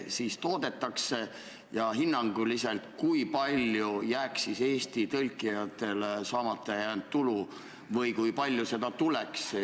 Seda lükatakse ka viis aastat edasi, aga suure tõenäosusega käivad Eestis raudteevõrgu infrastruktuuri ehitustööd ka peale seda viit aastat.